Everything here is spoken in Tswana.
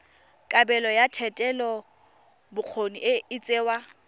kabelo ya thetelelobokgoni e tsewa